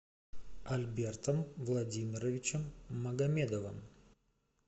альбертом владимировичем магомедовым